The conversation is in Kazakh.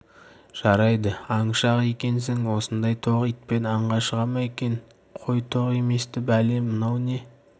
жарайды аңшы-ақ екенсің осындай тоқ итпен аңға шыға ма екен қой тоқ емес-ті бәле мынау не